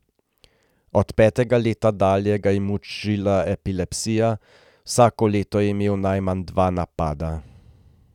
Od petega leta dalje ga je mučila epilepsija, vsako leto je imel najmanj dva napada.